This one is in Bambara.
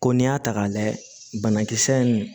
Ko n'i y'a ta k'a layɛ banakisɛ in